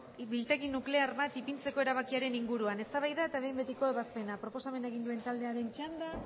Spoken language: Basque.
biltegi nuklear bat ipintzeko erabakiaren inguruan eztabaida eta behin betiko ebazpena proposamena egin duen taldearen txanda